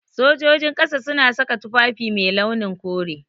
Sojojin ƙasa suna saka tufafi mai launin kore.